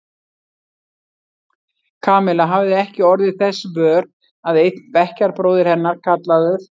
Kamilla hafði ekki orðið þess vör að einn bekkjarbróðir hennar, kallaður